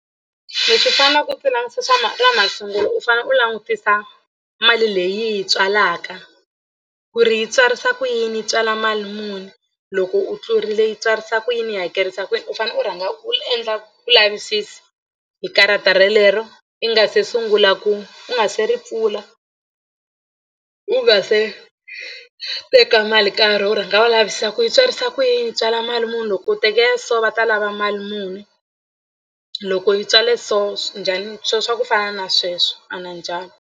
Leswi faneleke ku swi langutisa swa ma na masungulo u fane u langutisa mali leyi yi yi tswalaka ku ri yi tswarisa ku yini yi tswala mali muni loko u tlurile yi tswarisa ku yini yi hakerisa ku yini u fanele u rhanga u endla ku lavisisa hi karata relero i nga se sungula ku u nga se ri pfula u nga se teka mali nkarhi u rhanga u lavisisa ku yi tswarisa ku yi tswala mali muni loko u tekela so va ta lava mali muni loko yi tswala so njhani swo swa ku fana na sweswo a na .